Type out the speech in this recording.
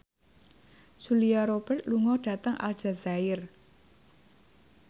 Julia Robert lunga dhateng Aljazair